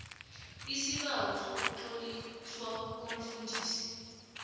lsibawo sokutloliswa komfundisi